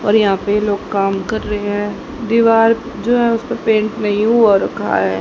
और यहां पे लोग काम कर रहे हैं दीवार जो है उस पे पेंट नहीं हुआ रखा है।